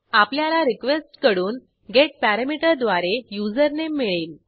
आपल्याला रिक्वेस्ट कडून गेटपरामीटर द्वारे युजरनेम मिळेल